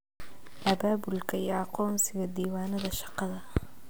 Abaabulka iyo aqoonsiga diiwaanada shaqada.